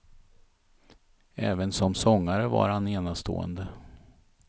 Även som sångare var han enastående.